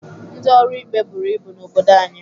Ndị ọrụ ikpe buru ibu n'obodo anyị